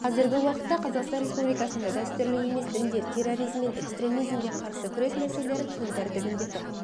қазіргі уақытта қазақстан республикасында дәстүрлі емес діндер терроризм мен экстремизмге қарсы күрес мәселелері күн тәртібінде тұр